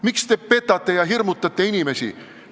Miks te petate ja hirmutate inimesi?